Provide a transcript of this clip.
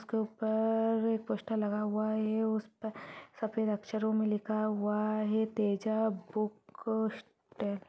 उसके ऊपर एक पोस्टर लगा हुआ है उस पर सफेद अक्षरों में लिखा हुआ है तेजा बुक स्ट--